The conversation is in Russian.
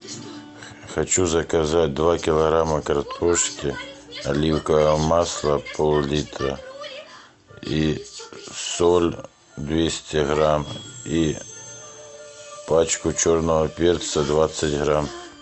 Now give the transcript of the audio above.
хочу заказать два килограмма картошки оливковое масло пол литра и соль двести грамм и пачку черного перца двадцать грамм